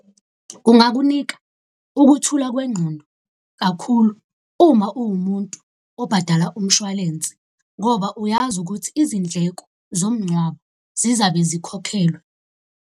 Kungakunika ukuthula kwengqondo kakhulu uma uwumuntu obhadala umshwalense, ngoba uyazi ukuthi izindleko zomngcwabo zizabe zikhokhelwe.